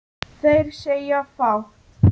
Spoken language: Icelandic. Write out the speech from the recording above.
Þeir segja fátt